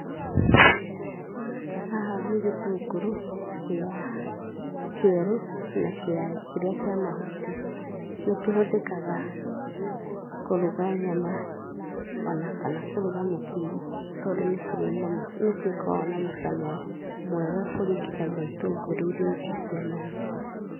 Haha nĩ gĩtũngũrũ kĩa kĩerũ na kĩa, kĩria kia mahuti, nĩkĩhũthĩkaga kũruga nyama o na kana kũruga mũkimo tondũ nĩ kĩrĩ nĩgĩkoragwo na mũcamo mwega kũringithania na itũngũrũ ĩrĩa ingĩ cia mahuti.